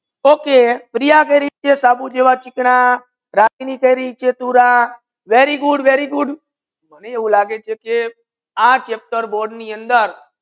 Okay Priya સાબુ ની ચિકના જેવા માને આ લગે છે બોર્ડ ની અંદર very goodvery good